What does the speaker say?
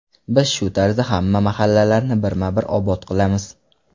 Biz shu tarzda hamma mahallalarni birma-bir obod qilamiz”.